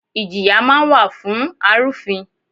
Ìjìyà máa ń wà fún arufin.